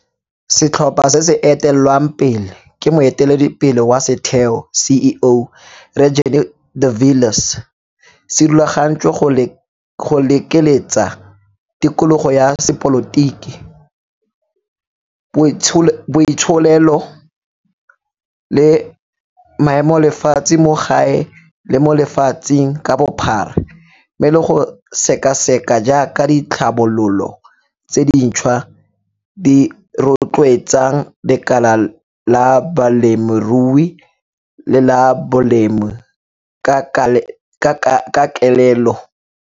Setlhopha se se etelelwang pele ke moeteledipele wa setheo, CEO, Rre Jannie de Villiers, se rulagantswe go lekeletsa tikologo ya sepolotiki, boitsholelo le maemolefatshe mo gae le mo lefatsheng ka bophara mme le go sekaseka jaaka ditlhabololo tse dintšhwa di rotloetsang lekala la bolemirui le la bolemi ka kelelelo.